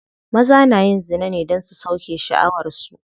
Maza na yin zina ne don su sauke sha'awar su.